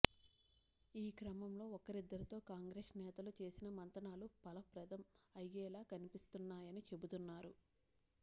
ఈ క్రమంలో ఒకరిద్దరితో కాంగ్రెస్ నేతలు చేసిన మంతనాలు ఫలప్రదం అయ్యేలా కనిపిస్తున్నాయని చెబుతున్నారు